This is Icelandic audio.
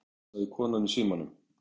sagði konan í símanum.